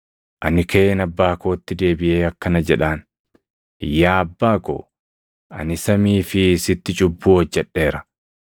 Ani kaʼeen abbaa kootti deebiʼee akkana jedhaan; “Yaa abbaa ko, ani samii fi sitti cubbuu hojjedheera.